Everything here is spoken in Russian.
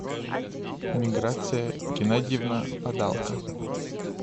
миграция геннадьевна падалко